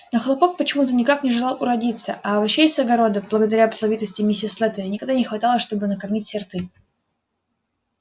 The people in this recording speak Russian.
но хлопок почему-то никак не желал уродиться а овощей с огорода благодаря плодовитости миссис слэттери никогда не хватало чтобы накормить все рты